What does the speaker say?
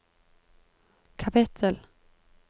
kapittel